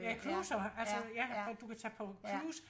Ja cruisere alts ja at du kan tage på cruise